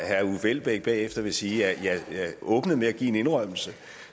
herre uffe elbæk bagefter vil sige at jeg åbnede med at give en indrømmelse